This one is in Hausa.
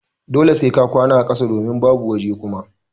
Dole sai ka kwana a ƙasa domin babu waje Kuma.